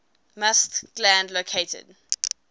musth gland located